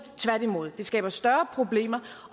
tværtimod det skaber større problemer